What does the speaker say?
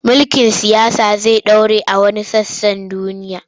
Mulkin siyasa zai ɗore a wasu sassa na duniya.